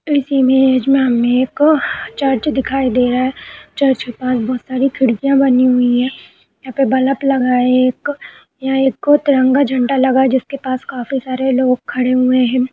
इस इमेज मे हमे एक चर्च दिखाई दे रहा है। चर्च पर बहोत सारी खिड़कियां बनी हुई हैं। यहाँ पर बलप लगा है एक यहाँ एको तिरंगा झण्डा लगा है जिसके पास काफी सारे लोग खड़े हुए हैं।